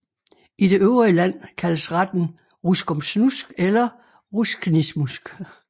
I det øvrige land kaldes retten ruskomsnusk eller rusknismusk